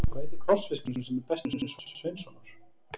Hvað heitir krossfiskurinn sem er besti vinur Svamps Sveinssonar?